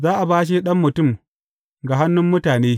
Za a bashe Ɗan Mutum ga hannun mutane.